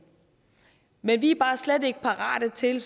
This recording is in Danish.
men vi er bare slet ikke parate til